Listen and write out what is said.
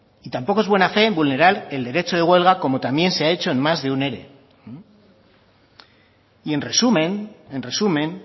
y tampoco es buena fe vulnerar el derecho de huelga como también se ha hecho en más de un ere y en resumen en resumen